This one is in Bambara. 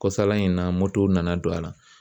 Kɔsala in na motow nana don a la